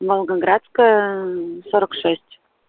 волгоградская сорок шесть